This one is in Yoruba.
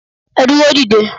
Ẹ dúró dédé